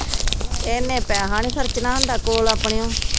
ਇਹਨੇ ਪੈਸਾ ਨਹੀਂ ਖਰਚਣਾ ਹੁੰਦਾ ਕੋਲ ਆਪਣਿਓ